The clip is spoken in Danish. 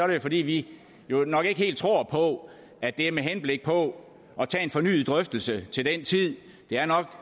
det fordi vi nok ikke helt tror på at det er med henblik på at tage en fornyet drøftelse til den tid det er